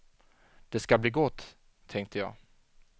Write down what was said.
Det ska bli gott, tänkte jag.